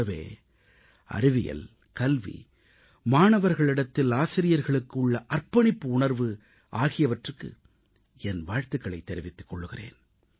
கூடவே அறிவியல் கல்வி மாணவர்களிடத்தில் ஆசிரியர்களுக்கு உள்ள அர்ப்பணிப்பு உணர்வு ஆகியவற்றுக்கு என் வாழ்த்துகளைத் தெரிவிக்கிறேன்